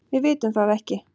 Við vitum það ekki.